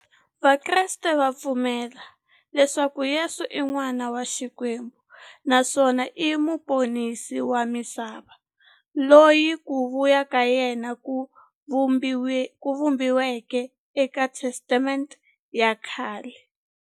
Vakreste va pfumela leswaku Yesu i n'wana wa Xikwembu naswona i muponisi wa misava, loyi ku vuya ka yena ku vhumbiweke eka Testamente ya khale.